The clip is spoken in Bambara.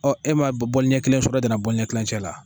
e m'a ɲɛ kelen sɔrɔ e danna ɲɛ kilancɛ la